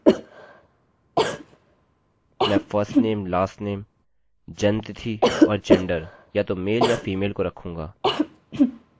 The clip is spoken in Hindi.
मैं firstname lastname जन्मतिथि और gender या तो male या female को रखूँगा